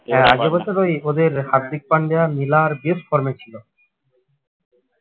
ওই ওদের হার্দিক পান্ডে আর মিলার বেশ form এ ছিল